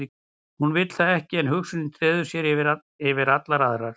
Hún vill það ekki en hugsunin treður sér yfir allar aðrar.